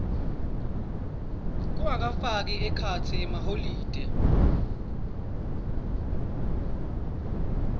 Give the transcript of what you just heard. kungafaki ekhatsi emaholide